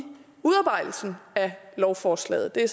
udarbejdelsen af lovforslaget det er